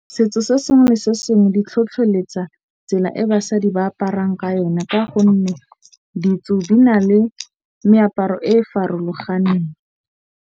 Setso se sengwe le sengwe di tlhotlheletsa tsela e basadi ba aparang ka yona. Ka gonne ditso di na le meaparo e e farologaneng.